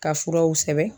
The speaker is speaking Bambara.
Ka furaw sɛbɛn